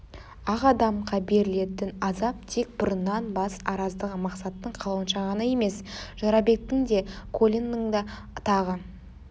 ақ адамға берілетін азап тек бұрыннан бас араздығы мақсаттың қалауынша ғана емес жорабектің де колинның да тағы